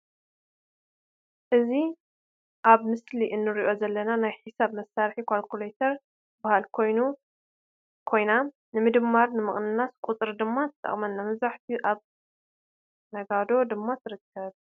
እዚ ኣብ ምስሊ ንርኦ ዘለና ናይ ሒሳብ መሳሪሒ ኳልኩሌተር ትባሃል ኮይና ንምድማርን ንምቅናስን ቁፅሪ ድማ ትጠቅመና። መብዛሕቲኡ ኣብ ነጋዶ ድማ ትርከብ።